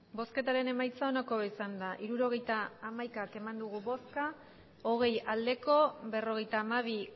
emandako botoak hirurogeita hamaika bai hogei ez berrogeita hamabi